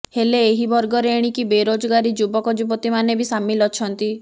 ହେଲେ ଏହି ବର୍ଗରେ ଏଣିକି ବେରୋଜଗାରୀ ଯୁବକ ଯୁବତୀମାନେ ବି ସାମିଲ ଅଛନ୍ତି